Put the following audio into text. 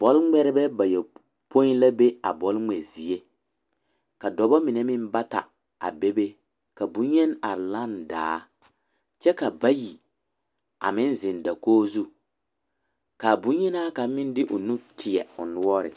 Bɔlŋmeɛrebɛ bayɔpoi la be a bɔlŋmɛ zie ka dɔba mine meŋ bata a bebe ka boŋyeni are lane daa kyɛ ka bayi meŋ zeŋ dakogi zu ka boŋyenaa kaŋa meŋ de o nu teɛ o noɔre.